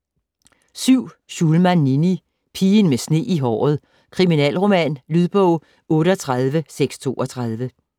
Schulman, Ninni: Pigen med sne i håret: kriminalroman Lydbog 38632